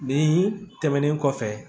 Nin tɛmɛnen kɔfɛ